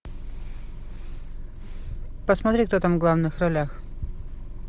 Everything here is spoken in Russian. посмотри кто там в главных ролях